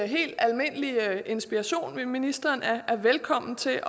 helt almindelig inspiration ministeren er velkommen til